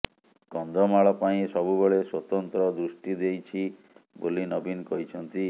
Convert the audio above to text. କନ୍ଧମାଳ ପାଇଁ ସବୁବେଳେ ସ୍ୱତନ୍ତ୍ର ଦୃଷ୍ଟି ଦେଇଛି ବୋଲି ନବୀନ କହିଛନ୍ତି